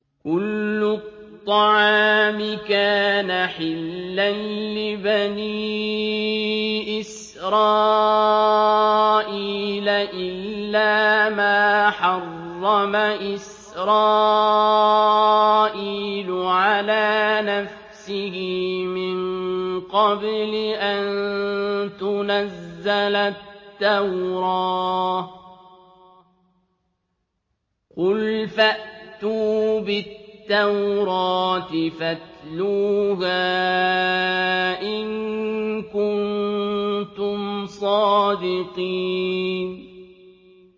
۞ كُلُّ الطَّعَامِ كَانَ حِلًّا لِّبَنِي إِسْرَائِيلَ إِلَّا مَا حَرَّمَ إِسْرَائِيلُ عَلَىٰ نَفْسِهِ مِن قَبْلِ أَن تُنَزَّلَ التَّوْرَاةُ ۗ قُلْ فَأْتُوا بِالتَّوْرَاةِ فَاتْلُوهَا إِن كُنتُمْ صَادِقِينَ